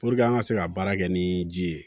an ka se ka baara kɛ ni ji ye